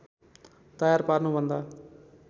तयार पार्नु भन्दा